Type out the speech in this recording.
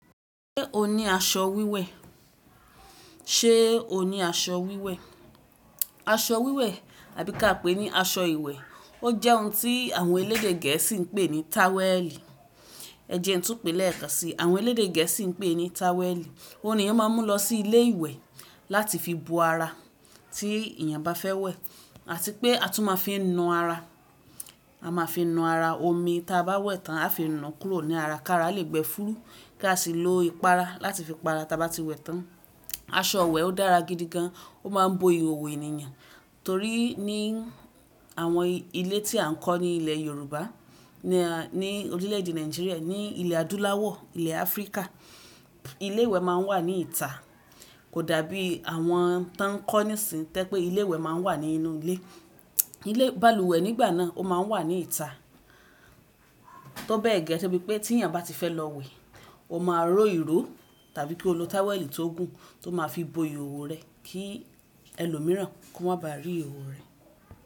Ṣé o ní aṣọ wíwẹ̀? Ṣé o ní aṣọ wíwẹ̀? Aṣọ wíwẹ̀ àbí ká pèé ní aṣọ ìwẹ̀. Ó jẹ́ ohun tí àwọn elédè gẹ̀ẹ́sì ń pè ní táwẹ́ẹ̀lì. Ẹ jẹ ń tún pé lẹ́ẹ̀kan si. Àwọn elédè gẹ̀ẹ́sì ń pè ní táwẹ́ẹ̀lì. Ó ní èèyàn máa ń mú lọ sí ilé ìwẹ̀ láti fi bo ara tí èèyàn bá fẹ́ wẹ̀ àti pé a tún máa ń fi nu ara. A máa fi nu ara. Omi ta bá wẹ̀ tán a fi nu kúrò ní ara kí ara lè gbẹ fúrú kí a sì lo ìpara láti fi pa ara ta bá ti wẹ̀ tán. Aṣọ wẹ̀ ó dára gidi gan. Ó máa ń bo ìhòòhò ènìyàn torí ní àwọn ilé tí à ń kọ́ ní ilẹ̀ Yorùbá, ní orílẹ̀ èdè Nàìjíríà, ní ilẹ̀ adúláwọ̀, ilẹ̀ Áfríkà, ilé ìwẹ̀ máa ń wà ní ìta. Kò dàbí àwọn tí wọ́n ń kọ́ níìsín tẹ́ pé ilé ìwẹ̀ máa ń wà ní inú ilé. Ilé balùwẹ̀ nígbà náà ó máa ń wà ní ìta. Tó bẹ́ẹ̀ gẹ́gẹ́ bí pé tí èèyàn bá ti fẹ́ lọ wẹ̀, ó máa ró irú tàbí kí ó lo táwẹ́ẹ̀lì tó gùn tó máa fi bo ìhòòhò rẹ̀ kí ẹlòmíràn kó má ba rí ìhòòhò rẹ̀.